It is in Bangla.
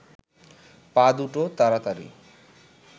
পা দুটো তাড়াতাড়ি